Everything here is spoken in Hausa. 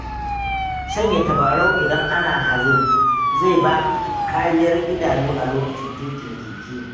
Sanya tabarau idan ana hazo, zai baka kariyar idanu a lokacin tuƙin keke.